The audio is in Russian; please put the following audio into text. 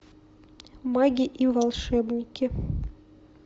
маги и волшебники